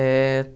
Eh